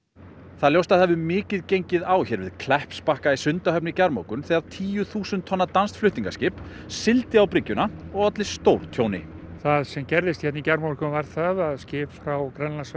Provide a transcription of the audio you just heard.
það er ljóst að það hefur mikið gengið á hér við Kleppsbakka í Sundahöfn í gærmorgun þegar tíu þúsund tonna danskt flutningaskip sigldi á bryggjuna og olli stórtjóni það sem gerðist hérna í gærmorgun var það að skip frá